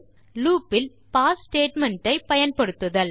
loop இல் pass statement ஐ பயன்படுத்துதல்